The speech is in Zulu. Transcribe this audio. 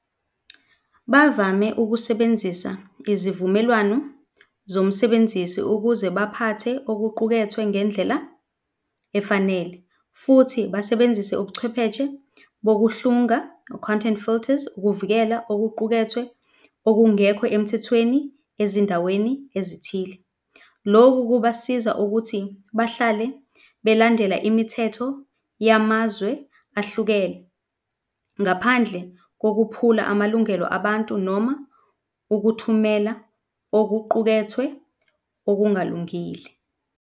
Bavame ukusebenzisa izivumelwano zomsebenzisi ukuze baphathe okuqukethwe ngendlela efanele futhi basebenzise ubuchwepheshe bokuhlunga, content filters ukuvikela okuqukethwe okungekho emthethweni ezindaweni ezithile. Loku kubasiza ukuthi bahlale belandela imithetho yamazwe ahlukene ngaphandle kokuphula amalungelo abantu, noma ukuthumela okuqukethwe okungalungile.